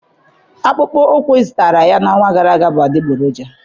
Akpụkpọ ụkwụ ị zụtara ya n'ọnwa gara aga bụ adịgboroja